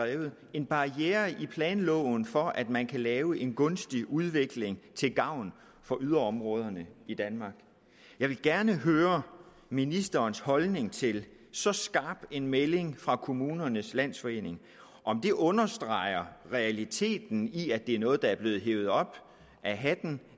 en barriere i planloven for at man kan lave en gunstig udvikling til gavn for yderområderne i danmark jeg vil gerne høre ministerens holdning til så skarp en melding fra kommunernes landsforening og om det understreger realiteten i at det er noget der er blevet hevet op af hatten